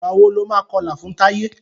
Ìgbà wo ni o máa kọlà fún Táyé?